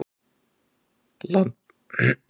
Landbúnaðarráðuneytinu og fjölmiðlum.